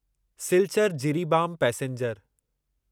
Silchar Jiribam passenger